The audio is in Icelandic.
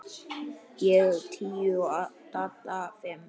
Ég tíu og Dadda fimm.